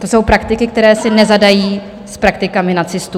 To jsou praktiky, které si nezadají s praktikami nacistů.